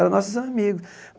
Eram nossos amigos.